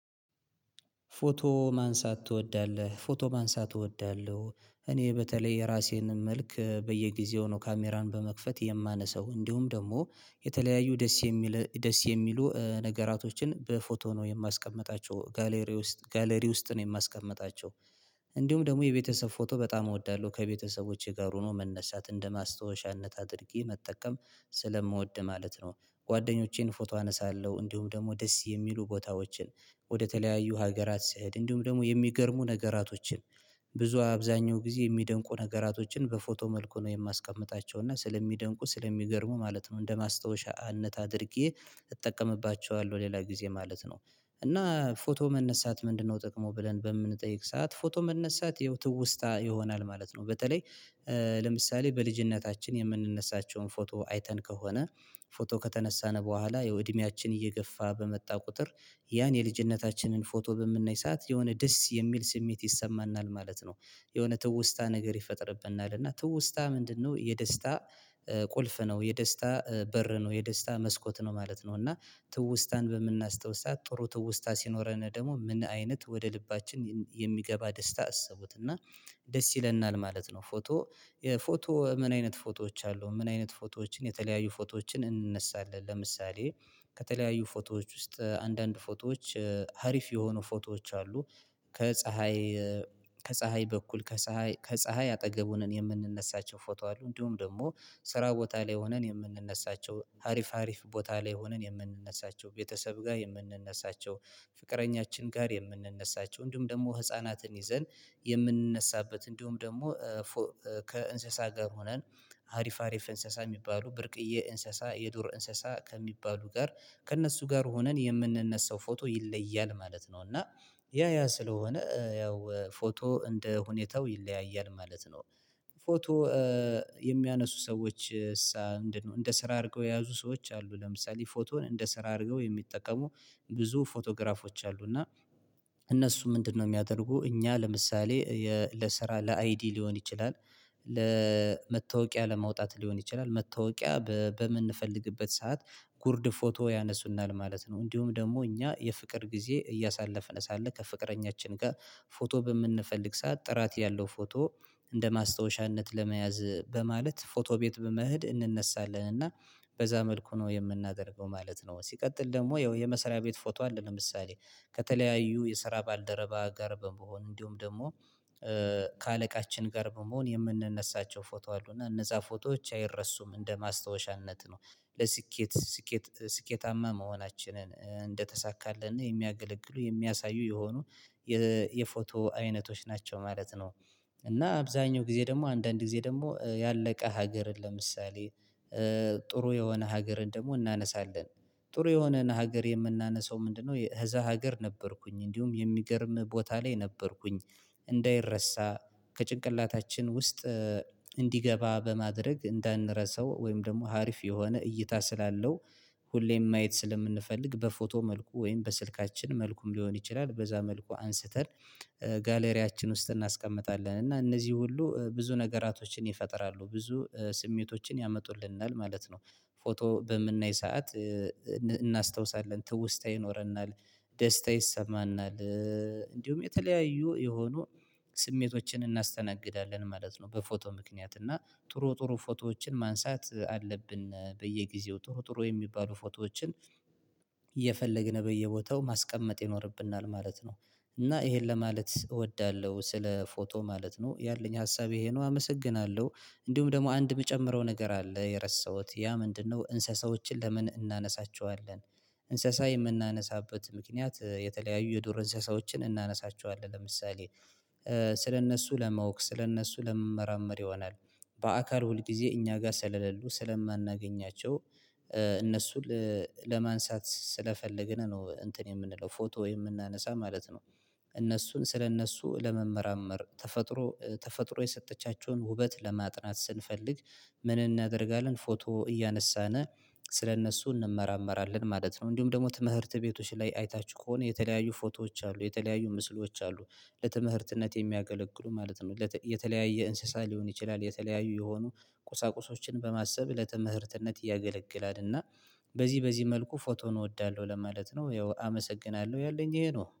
ፎቶ ማንሳት ትወዳለህ? ፎቶ ማንሳት እወዳለሁ እኔ በተለይ የራሴን መልክ በየጊዜው ነው ካሜራን በመክፈት የማነሳው እንዲሁም ደግሞ የተለያዩ ደስ የሚል ደስ የሚሉ ነገራቶችን በፎቶ ነው የማስቀምጣቸው ጋለሪ ውስጥ ነው የማስቀምጣቸው እንዲሁም ደግሞ የቤተሰብ ፎቶ በጣም እወዳለሁ ከቤተሰቦቼ ጋር ሆኖ መነሳት እንደ ማስታወሻነት አድርጌ መጠቀም ስለምወድ ማለት ነው። ጓደኞቼን ፎቶ አነሳለሁ እንዲሁም ደግሞ ደስ የሚሉ ቦታዎችን ወደተለያዩ ሀገራት ስሄድ እንዲሁም ደግሞ የሚገርሙ ነገራቶችን ብዙ አብዛኛው ጊዜ የሚደንቁ ነገራቶችን በፎቶ መልኩ ነው የማስቀምጣቸው እና ስለሚደንቁ ስለሚገርሙ ማለት ነው እንደ ማስታወሻነት አድርጌ እጠቀምባቸዋለሁ ሌላ ጊዜ ማለት ነው። እና ፎቶ መነሳት ምንድነው ጥቅሙ ብለን በምንጠይቅ ሰዓት ፎቶ መነሳት ያው ትውስታ ይሆናል ማለት ነው። በተለይ ለምሳሌ በልጅነታችን የምንነሳቸውን ፎቶ አይተን ከሆነ ፎቶ ከተነሳን በኋላ ያው እድሜያችን እየገፋ በመጣ ቁጥር ያን የልጅነታችንን ፎቶ በምናይ ሰዓት የሆነ ደስ የሚል ስሜት ይሰማናል ማለት ነው። የሆነ ትውስታ ነገር ይፈጥርብናል እና ትውስታ ምንድነው የደስታ ቁልፍ ነው የደስታ በር ነው የደስታ መስኮት ነው ማለት ነው። እና ትውስታን በምናስታውስት ጥሩ ትውስታ ሲኖረን ደግሞ ምን አይነት ወደ ልባችን የሚገባ ደስታ አሰቡት እና ደስ ይለናል ማለት ነው። ፎቶ ፎቶ ምን አይነት ፎቶዎች አሉ? ምን አይነት ፎቶዎችን የተለያዩ ፎቶዎችን እንነሳለን። ለምሳሌ ከተለያዩ ፎቶዎች ውስጥ አንዳንድ ፎቶዎች ሀሪፍ የሆኑ ፎቶዎች አሉ። ከጽሀይ ከፀሀይ በኩል ከፀሀይ አጠገቡን የምንነሳቸው ፎቶ አሉ እንዲሁም ደግሞ ስራ ቦታ ላይ ሆነን የምንነሳቸው ሀሪፍ ሀሪፍ ቦታ ላይ ሆነን የምንነሳቸው ቤተሰብ ጋር የምንነሳቸው ፍቅረኛችን ጋር የምንነሳቸው እንዲሁም ደግሞ ህፃናትን ይዘን የምንነሳበት እንዲሁም ደግሞ ከእንስሳ ጋር ሆነን አሪፍ አሪፍ እንስሳ የሚባሉ ብርቅዬ እንስሳ የዱር እንስሳ ከሚባሉ ጋር ከእነሱ ጋር ሆነን የምንነሳው ፎቶ ይለያል ማለት ነው። እና ያ ያ ስለሆነ ያው ፎቶ እንደ ሁኔታው ይለያያል ማለት ነው። ፎቶ የሚያነሱ ሰዎችሳ እንደ ስራ አድርገው የያዙ ሰዎች አሉ። ለምሳሌ ፎቶን እንደ ስራ አድርገው የሚጠቀሙ ብዙ ፎቶግራፎች አሉ። እና እነሱ ምንድነው? የሚያደርጉ እኛ ለምሳሌ ለስራ ለአይዲ ሊሆን ይችላል። ደስ ይለናል ማለት ነው። ፎቶ ፎቶ ምን አይነት ፎቶዎች አሉ? ምን አይነት ፎቶዎችን የተለያዩ ፎቶዎችን እንነሳለን። ለምሳሌ ከተለያዩ ፎቶዎች ውስጥ አንዳንድ ፎቶዎች ሀሪፍ የሆኑ ፎቶዎች አሉ። ከጽሀይ እንደማስታወሻነት ለመያዝ በማለት ፎቶ ቤት በመሄድ እንነሳለን እና በዛ መልኩ ነው የምናደርገው ማለት ነው። ሲቀጥል ደግሞ ያው የመስራያ ቤት ፎቶ አለ። ለምሳሌ ከተለያዩ የስራ ባልደረባ ጋር በመሆን እንዲሁም ደግሞ ከአለቃቺን ጋር በመሆን የምንነሳቸው ፎቶ አሉና እነዚያ ፎቶዎች አይረሱም። እንደ ማስታወሻነት ነው። ስኬታማ መሆናቺንን እንደተሳካልን የሚያገለግሉ የሚያሳዩ የሆኑ የፎቶ አይነቶች ናቸው ማለት ነው። እና አብዛኛው ጊዜ ደግሞ አንዳንድ ጊዜ ደግሞ ያለቀ ሀገርን ለምሳሌ ጥሩ የሆነ ሀገርን ደግሞ እናነሳለን። ጥሩ የሆነን ሀገር የምናነሳው ምንድን ነው? እዛ ሀገር ነበርኩኝ እንዲሁም የሚገርም ቦታ ላይ ነበርኩኝ። እንዳይረሳ ከጭንቅላታችን ውስጥ እንዲገባ በማድርግ እንዳንርሳው ወይም ደግሞ ሀሪፍ የሆነ እይታ ስላለው ሁሌም ማየት ስለምንፈልግ በፎቶ መልኩ ወይም ደግሞ በስልካቺን መልኩ ሊሆን ይቺላል። በዛ መልኩ አንስተን ጋለሪያችን ውስጥ እናስቀምጣለን እና እነዚህ ሁሉ ብዙ ነገራቶቺን ይፈጥራሉ ብዙ ስሜቶቺን የመጡልናል ማለት ነው። ፎቶ በምናይ ሰዓት እናስታውሳለን ትውስታ ይኖርናል። ደስታ ይሰማናል። እንዲሁም የተለያዬ የሆኑ ስሜቶቺን እናስተናግዳለን ማለት ነው። በፎቶ ምክንያት እና ጥሩ ጥሩ ፎቶዎቺን ማንሳት አለብን በየግዜው ጥሩ ጥሩ የሚባሉ ፎቶዎቺን እየፈለግን በየቦታው ማስቀመጥ ይኖርብናል ማለት ነው። እና ይሄን ለማለት እወዳለሁ ስለፎቶ ማለት ነው ያለኝ ሀሳብ ይሄ ነው። አመሰግናለሁ። እንዲሁም ደግሞ አንድ የምጨምረው ነገር አለ የረሳሁት ያ ምንድን ነው? እንስሳዎቺን ለምን እናነሳቸዋለን? እንስሳ የምናነሳበት ምክንያት የተለያዩ የዱር እንስሳዎቺን እናነሳቸዋለን ለምሳሌ ስለነሱ ለማወቅ ስለነሱ ለመመራመር ይሆናል። በአካል ሁልግዜ እኛጋር ስለ ለሉ ስለማናገኛቸው እነሱን ለማንሳት ስለፈለግን ነው እንትን የምንለው ፎቶ የምናነሳው ማለት ነው። እነሱን ስለነሱ ለመመራመር ተፈጥሮ የሰጠቻቸውን ውበት ለማጥናት ስንፈልግ ምን እናደርጋለን ፎቶ እያነሳን ስለነሱ እንመራመራለን ማለት ነው። እንዲሁም ደግሞ ትምህርት ቤቶች አይታቺሁ ከሆነ የተለያዪ ፎቶዎች አሉ የተለያዩ ምስሎች አሉ። ለትምህርትነት የሚያገለግሉ ማለት ነው። የተለያየ እንስሳ ሊሆን ይቺላል። የተለያዩ የሆኑ ቁሳቁሶች በማሰብ ለትምህርትነት ያገለግላል። እና በዚ በዚ መልኩ ፎቶን እወዳለው ለማለት ነው። ያው አመሰግናለው ያለኝ ይሄ ነው